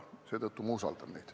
Seetõttu ma usaldan neid.